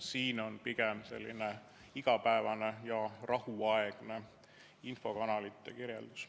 Siin on pigem selline igapäevane rahuaegne infokanalite kirjeldus.